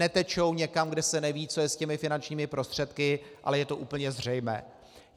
Netečou někam, kde se neví, co je s těmi finančními prostředky, ale je to úplně zřejmé.